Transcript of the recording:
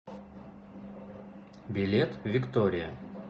билет виктория